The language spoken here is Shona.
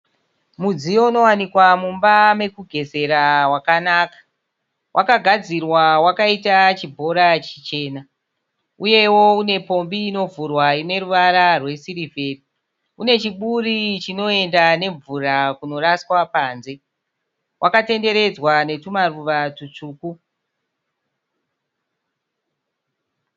Mudziyo unowanikwa mumba mekugezera wakanaka. Wakagadzirwa wakaita chibhora chichena. Uyewo unepombi inovhurwa ine ruvara rwesirivheri. Une chiburi chinoenda nemvura kunoraswa panze. Wakatenderedzwa netumaruva tutsvuku.